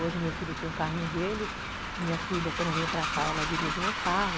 Hoje meu filho tem o carrinho dele, minha filha quando vem para cá ela dirige meu carro.